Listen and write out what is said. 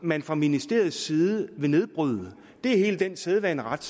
man fra ministeriets side vil nedbryde det er hele den sædvaneret